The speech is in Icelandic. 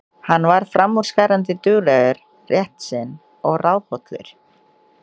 Hann var framúrskarandi duglegur, réttsýnn og ráðhollur.